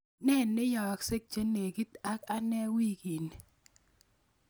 Ne neyaaksei chenegit ak ane wikini